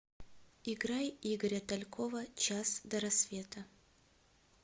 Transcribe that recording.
играй игоря талькова час до рассвета